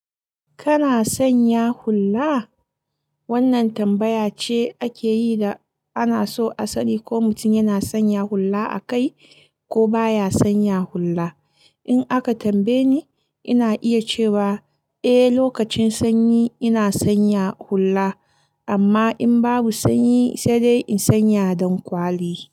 Kana sanya hulla? Wannan tambaya ce ake yi da ana so a sani ko mutum yana sanya hulla a kai ko baya sanya hulla. In aka tambaye ni, ina iya cewa eh, lokacin sanyi ina sanya hulla amma in babu sanyi sai dai in sanya dankwali.